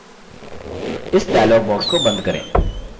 इस dialog box को बंद करें